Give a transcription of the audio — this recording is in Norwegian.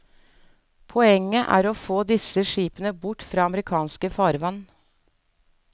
Poenget er å få disse skipene bort fra amerikanske farvann.